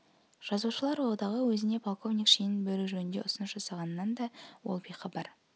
жазушылар одағы өзіне полковник шенін беру жөнінде ұсыныс жасағанынан да ол бейхабар